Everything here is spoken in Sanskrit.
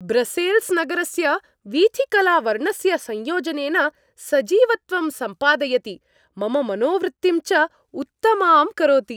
ब्रसेल्स् नगरस्य वीथिकला वर्णस्य संयोजनेन सजीवत्वं सम्पादयति, मम मनोवृत्तिं च उत्तमां करोति।